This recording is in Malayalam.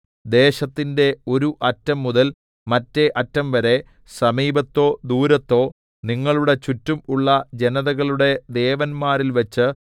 ദേശത്തിന്റെ ഒരു അറ്റം മുതൽ മറ്റേഅറ്റം വരെ സമീപത്തോ ദൂരത്തോ നിങ്ങളുടെ ചുറ്റും ഉള്ള ജനതകളുടെ ദേവന്മാരിൽവച്ച്